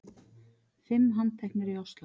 Fimm handteknir í Ósló